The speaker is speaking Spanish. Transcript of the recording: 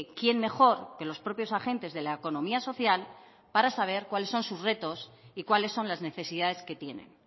quién mejor que los propios agentes de la economía social para saber cuáles son sus retos y cuáles son las necesidades que tienen